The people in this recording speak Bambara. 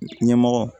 Ɲɛmɔgɔ